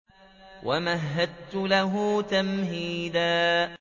وَمَهَّدتُّ لَهُ تَمْهِيدًا